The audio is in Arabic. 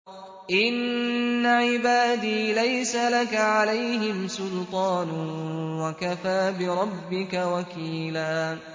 إِنَّ عِبَادِي لَيْسَ لَكَ عَلَيْهِمْ سُلْطَانٌ ۚ وَكَفَىٰ بِرَبِّكَ وَكِيلًا